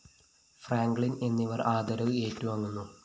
Franklin‍ എന്നിവര്‍ ആദരവ് ഏറ്റുവാങ്ങുന്നു